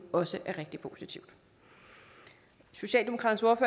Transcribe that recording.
også er rigtig positivt socialdemokraternes